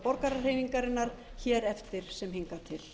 borgarahreyfingarinnar hér eftir sem hingað til